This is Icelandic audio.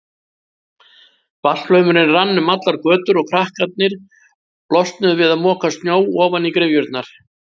Vatnsflaumurinn rann um allar götur og krakkarnir losnuðu við að moka snjó ofan í gryfjurnar.